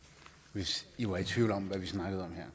hvis i var i tvivl om hvad vi snakkede